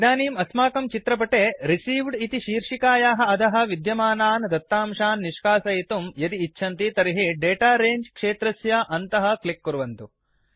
इदानीम् अस्माकं चित्रपटेReceived इति शीर्षिकायाः अधः विद्यमानान् दत्तांशान् निष्कासयितुं यदि इच्छन्ति तर्हि दाता रङ्गे क्षेत्रस्य अन्तः क्लिक् कुर्वन्तु